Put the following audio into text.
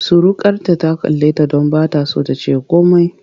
Surukarta ta kalleta don ba ta so ta ce komai.